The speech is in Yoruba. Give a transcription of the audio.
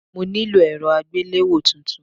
Mo nílò èrọ àgbéléwò tuntun.